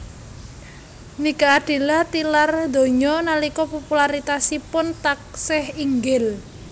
Nike Ardilla tilar donya nalika popularitasipun taksih inggil